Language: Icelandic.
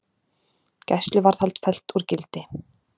Gæsluvarðhald fellt úr gildi